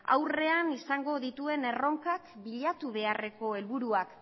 aurrean izango dituen erronkak bilatu beharreko herlburak